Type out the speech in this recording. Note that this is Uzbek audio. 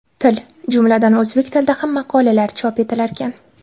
til, jumladan o‘zbek tilida ham maqolalar chop etilarkan.